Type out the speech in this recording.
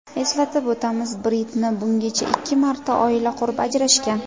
Eslatib o‘tamiz, Britni bungacha ikki marta oila qurib, ajrashgan.